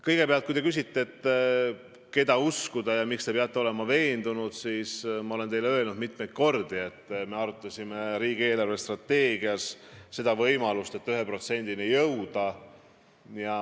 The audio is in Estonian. Kõigepealt, kui te küsite, keda uskuda ja kuidas te saate olla veendunud ühes või teises, siis ma olen teile öelnud mitu korda, et me arutasime riigi eelarvestrateegia koostamisel võimalust 1%-ni jõuda.